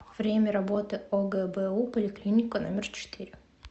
время работы огбу поликлиника номер четыре